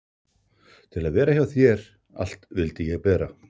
Til að vera hjá þér allt vildi ég bera.